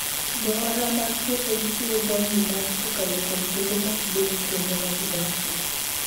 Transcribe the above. Johala mag puothegi chiwo jamni maggi kokalo kuom kembe matudogi kuonde ma gidakie.